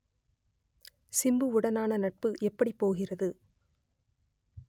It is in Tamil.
சிம்புவுடனான நட்பு எப்படி போகிறது